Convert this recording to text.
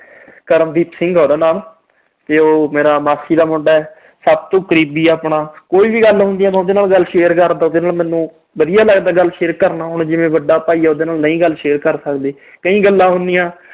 ਕਰਮਦੀਪ ਸਿੰਘ ਆ ਉਹਦਾ ਨਾਮ। ਮੇਰਾ ਮਾਸੀ ਦਾ ਮੁੰਡਾ, ਸਭ ਤੋਂ ਕਰੀਬੀ ਆਪਣਾ। ਕੋਈ ਵੀ ਗੱਲ ਹੁੰਦੀ ਆ, ਮੈਂ ਉਹਦੇ ਨਾਲ ਗੱਲ share ਕਰਦਾ, ਉਹਦੇ ਨਾਲ ਮੈਨੂੰ ਵਧੀਆ ਲੱਗਦਾ ਗੱਲ share ਕਰਨਾ। ਹੁਣ ਜਿਵੇਂ ਵੱਡਾ ਭਾਈ ਆ, ਉਹਦੇ ਨਾਲ ਨਹੀਂ ਗੱਲ share ਕਰ ਸਕਦੇ। ਕਈ ਗੱਲਾਂ ਹੁੰਦੀਆਂ।